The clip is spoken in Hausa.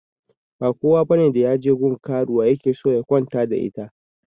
Ba kowa bane da yaje gun karuwa yake so ya kwana da ita